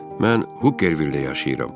Mən Hokkervildə yaşayıram.